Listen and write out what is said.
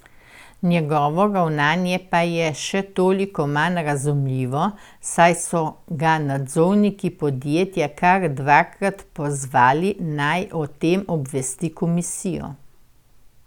Njegovo ravnanje pa je še toliko manj razumljivo, saj so ga nadzorniki podjetja kar dvakrat pozvali, naj o tem obvesti komisijo.